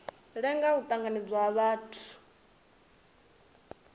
lenga u tanganedzwa ha muthu